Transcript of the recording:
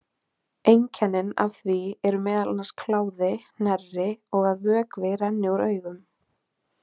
Einkennin af því eru meðal annars kláði, hnerri og að vökvi rennur úr augum.